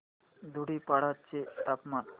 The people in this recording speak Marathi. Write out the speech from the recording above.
धुडीपाडा चे तापमान